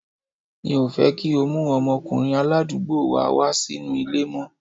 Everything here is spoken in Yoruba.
Mi ò fẹ́ kí o mú ọmọkùnrin aládùúgbò wa wá sínú ilé mọ́.